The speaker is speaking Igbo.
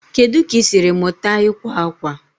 Kedu ka ị siri mụta ịkwa akwa?